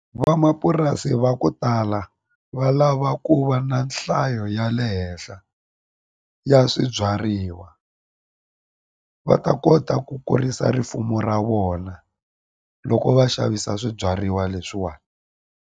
Van'wamapurasi va ku tala va lava ku va na nhlayo ya le henhla ya swibyariwa va ta kota ku kurisa rifumo ra vona loko va xavisa swibyariwa leswiwani.